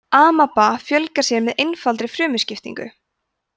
amaba fjölgar sér með einfaldri frumuskiptingu